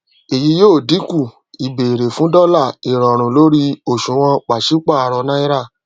èyí yóò dínkù ìbéèrè fún dọlà ìrọrùn lórí òṣùwòn pàṣípàrọ náírà